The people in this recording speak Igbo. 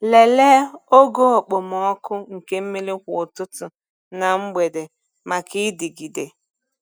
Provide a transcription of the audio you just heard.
Lelee ogo okpomọkụ nke mmiri kwa ụtụtụ na mgbede maka ịdịgide.